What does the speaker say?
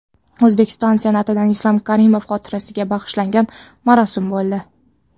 O‘zbekiston Senatida Islom Karimov xotirasiga bag‘ishlangan marosim bo‘ldi.